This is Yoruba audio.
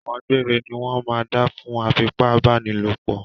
Ẹ̀wọ̀n gbére ní wọ́n máa dá fún afipábánilòpọ̀